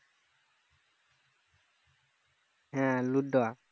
হ্যাঁ ludo